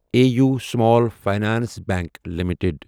A U small finance bank limited